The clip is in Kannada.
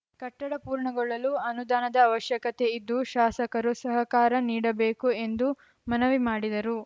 ಕಟ್ಟಡ ಪೂರ್ಣಗೊಳ್ಳಲು ಅನುದಾನದ ಅವಶ್ಯಕತೆ ಇದ್ದು ಶಾಸಕರು ಸಹಕಾರ ನೀಡಬೇಕು ಎಂದು ಮನವಿ ಮಾಡಿದರು